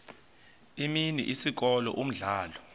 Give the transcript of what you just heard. imini isikolo umdlalo